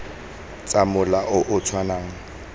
tsa mola o o tshwanang